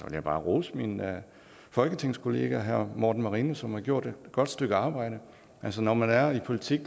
jeg bare rose min folketingskollega herre morten marinus som har gjort et godt stykke arbejde altså når man er i politik